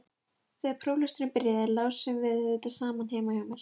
Þegar próflesturinn byrjaði lásum við auðvitað saman heima hjá mér.